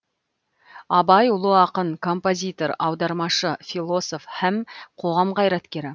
абай ұлы ақын композитор аудармашы философ һәм қоғам қайраткері